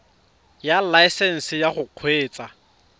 ya laesesnse ya go kgweetsa